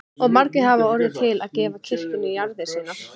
Og margir hafa orðið til að gefa kirkjunni jarðir sínar.